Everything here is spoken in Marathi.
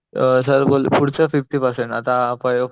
अ सर बोलले पुढेच फिफ्टी पर्सेंट आता फर्स्ट